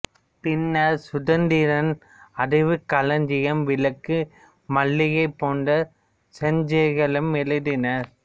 பின்னர் சுதந்திரன் அறிவுக்களஞ்சியம் விளக்கு மல்லிகை போன்ற சஞ்சிகைகளிலும் எழுதினார்